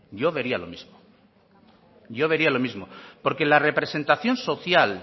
yo vería lo mismo porque la representación social